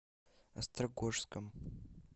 острогожском